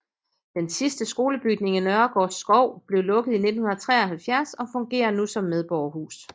Den sidste skolebygning i Nørregårdskov blev lukket i 1973 og fungerer nu som medborgerhuset